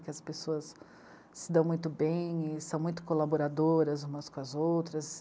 Que as pessoas se dão muito bem e são muito colaboradoras umas com as outras.